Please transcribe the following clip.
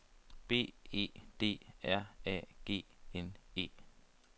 B E D R A G N E